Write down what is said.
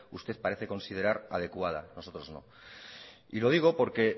usted parece considerar adecuada nosotros no y lo digo porque